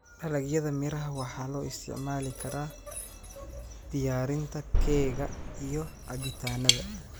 Dalagyada miraha waxaa loo isticmaali karaa diyaarinta keega iyo cabitaannada.